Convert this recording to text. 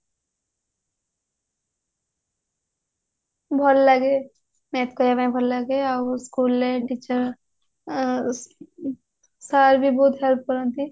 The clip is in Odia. ଭଲ ଲାଗେ math କରିବା ପାଇଁ ଭଲ ଲାଗେ ଆଉ school ରେ teacher ଆଉ sir ବି ବହୁତ help କରନ୍ତି